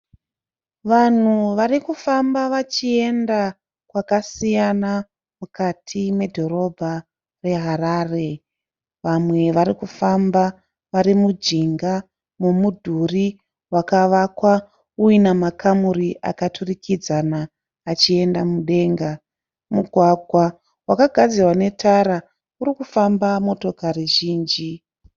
Vanhu vari kufamba vachienda kwakasiyana mukati medhorobha reHarare. Vamwe vari kufamba vari mujinga wemudhuri wakavakwa uina makamuri akaturikidzana achienda mudenga. Mugwagwa wakagadzirwa netara uri kufamba motokari zhinji.